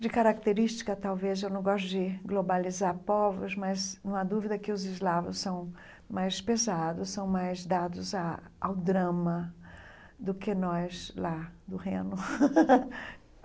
De característica, talvez, eu não gosto de globalizar povos, mas não há dúvida que os eslavos são mais pesados, são mais dados a ao drama do que nós lá do Reno.